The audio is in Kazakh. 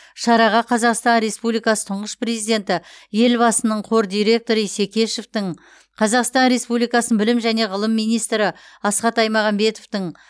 шараға қазақстан республикасы тұңғыш президенті елбасының қор директоры исекешевтің қазақстан республикасының білім және ғылым министрі асхат аймағамбетовтің